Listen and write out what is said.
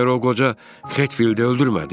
Məyər o qoca Hetfildi öldürmədi?